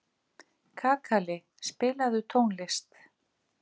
Kakali, spilaðu tónlist.